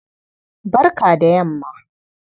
Barka da yamma.